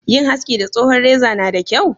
Yin haski da tsohon reza na da kyau?